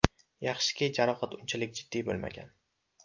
Yaxshiki, jarohat unchalik jiddiy bo‘lmagan.